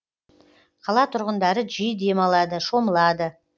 қала тұрғындары жиі демалады шомылады